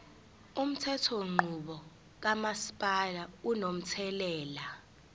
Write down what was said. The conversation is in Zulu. umthethonqubo kamasipala unomthelela